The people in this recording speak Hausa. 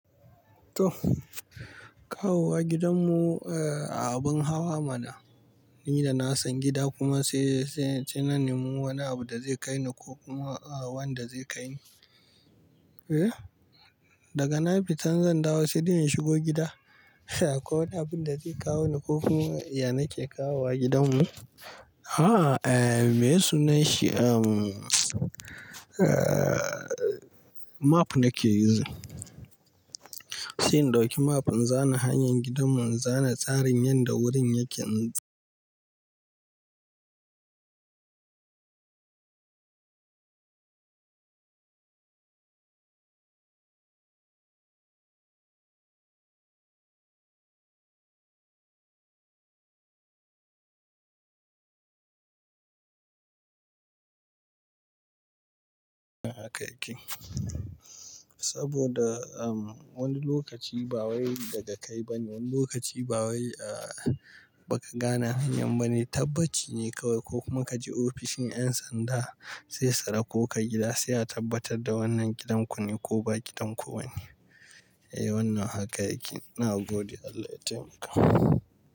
To, kawowa gidanmu, abin hawa mana. Ni da na san gida kuma sai na nemi wani abu da zai kai ni ko kuma wanda zai kai ni. Daga na fitan zandawo sai dai in shigo gida ko wani abin da zai kawo ni ko kuma yana ke kawowa gidanmu. A'a, maye sunan shi map nake yu zin. Sai in ɗauki map in zana hanyar gidanmu, in zana tsarin yanda wurin yake. Haka yake. Saboda wani lokaci ba wai daga kai ba ne, wani lokaci ba wai baka gane hanyar ba ne. Tabbaci ne kawai ko kuma kaji ofishin 'yan sanda sai sura ko kai gida sai a tabbatar da wannan gidan ku ne ko ba gidan ku ba ne. Eh, wannan haka yake. Na gode Allah ya taimaka.